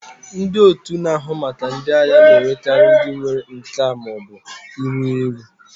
Ndị otu na-ahụ maka ndị agha na-ewekarị ndị nwere nka ma ọ bụ iru eru.